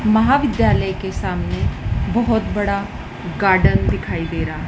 महाविद्यालय के सामने बहुत बड़ा गार्डन दिखाई दे रहा है।